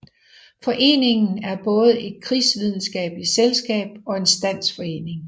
Foreningen er både et krigsvidenskabeligt selskab og en standsforening